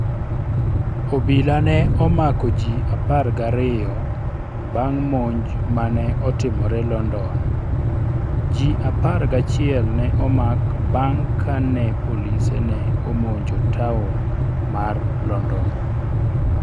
Obila ne omako ji apar gariyo bang' monj ma ne otimore London Ji apar gachiel ne omak bang ' kane polise ne omonjo taon mar London.